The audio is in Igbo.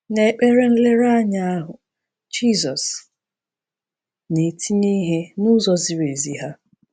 N’ekpere nlereanya ahụ, Jizọs na-etinye ihe n’ụzọ ziri ezi ha.